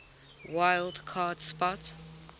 wild card spot